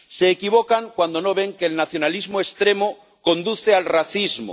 Se equivocan cuando no ven que el nacionalismo extremo conduce al racismo.